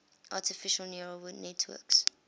artificial neural networks